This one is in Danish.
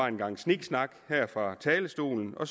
en gang sniksnak her fra talerstolen og